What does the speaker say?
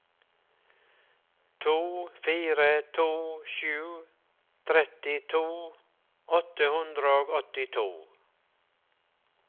to fire to sju trettito åtte hundre og åttito